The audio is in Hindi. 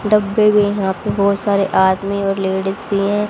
डब्बे में यहां पे बहोत सारे आदमी और लेडिस भी हैं।